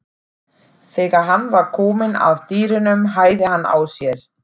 Þegar hann var kominn að dyrunum hægði hann á sér.